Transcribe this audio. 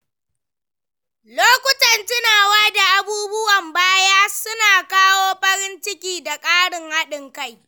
Lokutan tunawa da abubuwan baya suna kawo farin ciki da ƙarin haɗin kai.